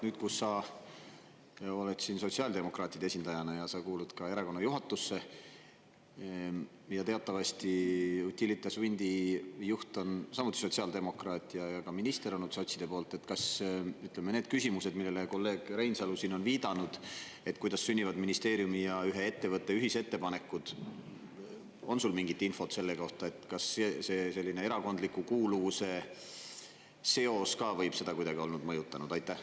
Nüüd, kus sa oled siin sotsiaaldemokraatide esindajana ja sa kuulud ka erakonna juhatusse ja teatavasti Utilitas Windi juht on samuti sotsiaaldemokraat ja ka minister on nüüd sotside poolt, kas ütleme, need küsimused, millele kolleeg Reinsalu siin on viidanud, et kuidas sünnivad ministeeriumi ja ühe ettevõtte ühisettepanekud, on sul mingit infot selle kohta, kas see erakondliku kuuluvuse seos ka võib seda kuidagi olla mõjutanud?